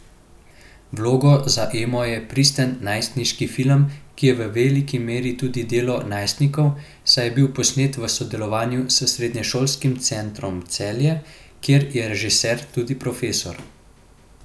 Vloga za Emo je pristen najstniški film, ki je v veliki meri tudi delo najstnikov, saj je bil posnet v sodelovanju s Srednješolskim centrom Celje, kjer je režiser tudi profesor.